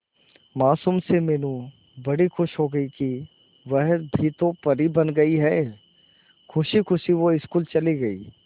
मासूम सी मीनू बड़ी खुश हो गई कि वह भी तो परी बन गई है खुशी खुशी वो स्कूल चली गई